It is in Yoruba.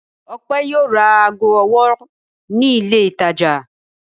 Ọpẹ́ yóò ra ago ọwọ́ ní ilé-ìtajà.